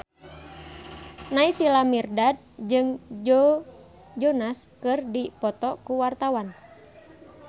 Naysila Mirdad jeung Joe Jonas keur dipoto ku wartawan